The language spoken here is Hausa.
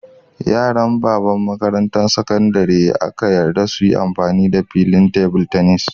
Yaran babban makarantan sakandare ne aka yarda su yi amfani da filin table tennis.